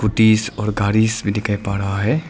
पूटिस और गारीस भी दिखाई पा राहा है।